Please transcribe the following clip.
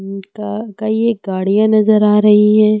कई गाड़ियां नजर आ रही है।